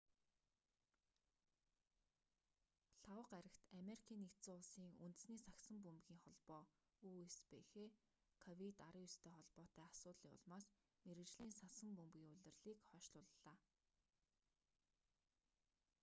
лхагва гарагт америкийн нэгдсэн улсын үндэсний сагсан бөмбөгийн холбоо үсбх ковид-19-тэй холбоотой асуудлын улмаас мэргэжлийн сагсан бөмбөгийн улирлыг хойшлууллаа